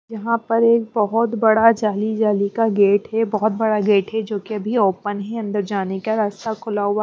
यहाँ पर एक बहुत बड़ा जाली जाली का गेट है बहुत बड़ा गेट है जोकि अभी ओपन है अंदर जाने का रास्ता खुला हुआ --